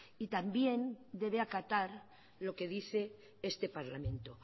y también debe acatar lo que dice este parlamento